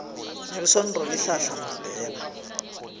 nelson rolihlahla mandela